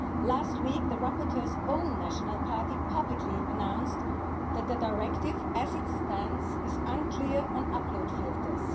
Last week, the rapporteur's own national party publicly announced that the Directive, as it stands, is unclear on upload filters.